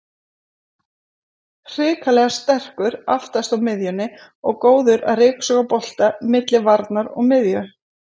Hrikalega sterkur aftast á miðjunni og góður að ryksuga bolta milli varnar og miðju.